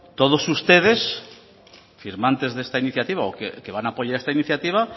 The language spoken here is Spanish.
todos ustedes firmantes de esta iniciativa o que van apoyar esta iniciativa